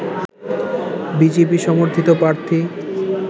BJP সমর্থিত প্রার্থী